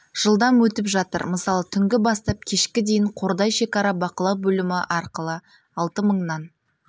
жылдам өтіп жатыр мысалы түнгі бастап кешкі дейін қордай шекара бақылау бөлімі арқылы алты мыңнан